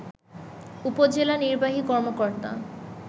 উপজেলা নির্বাহী কর্মকর্তা